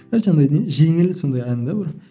иә жаңағыдай жеңіл сондай ән де бір